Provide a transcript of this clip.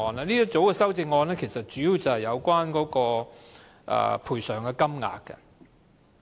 這一組修正案主要是有關賠償金額。